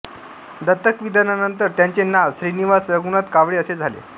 दत्तकविधानानंतर त्यांचे नाव श्रीनिवास रघुनाथ कावळे असे झाले